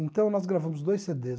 Então nós gravamos dois cê dês.